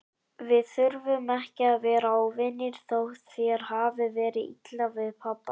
Við þurfum ekki að vera óvinir, þótt þér hafi verið illa við pabba.